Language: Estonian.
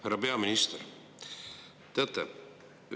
Härra peaminister!